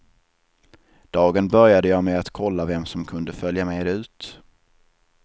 Dagen började jag med att kolla vem som kunde följa med ut.